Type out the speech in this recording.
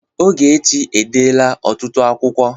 Ọgechi e dela ọtụtụ akwụkwo